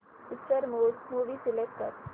picture mode movie select कर